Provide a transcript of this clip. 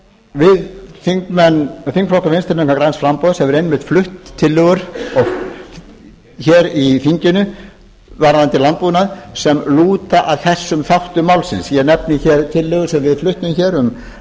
vinstri hreyfignarinanr græns framboðs hefur einmitt flutt tillögu hér í þinginu varðandi landbúnaðinn sem lúta að þessum þáttum málsins ég nefni hér tillögu sem við fluttum hér